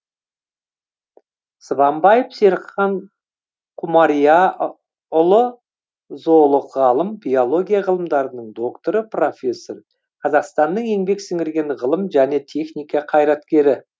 сыбанбаев серікхан құмарияыұлы зоолог ғалым биология ғылымдарының докторы профессор қазақстанның еңбек сіңірген ғылым және техника қайраткері